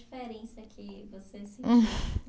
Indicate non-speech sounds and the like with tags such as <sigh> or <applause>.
Diferença que você sentiu <sighs>